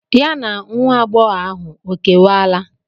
Ya na nwa agbọghọ ahụ ọ kewala?